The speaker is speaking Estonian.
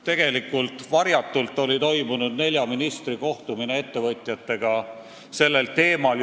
Tegelikult oli varjatult juba ammuilma toimunud nelja ministri kohtumine ettevõtjatega sellel teemal.